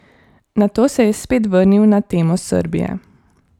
Nato se je spet vrnil na temo Srbije.